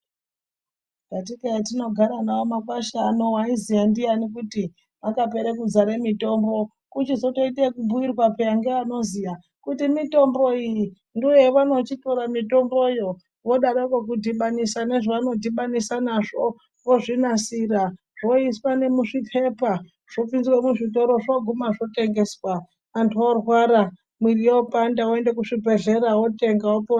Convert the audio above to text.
Katika hatinogara nemakwasga ano ndianinwaiziya kuti akazare mitombo kuchizotoite nekubhuirwa peya ngevanoziya kuti mitombo iyi ndoyavonochitora mitomboyo vodaroko kudhibanisa nezvavanodhibanisa nazvo vozvinasira zvoiswa nemuzvipepa zvopinzwa muzvitoro zvoguma zvotengezwa antu orwara, mwiri yopanda antu oguma oende kuzvibhedhlera otenga opora.